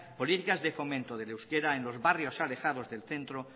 políticas de fomento del euskara en los barrios alejados del centro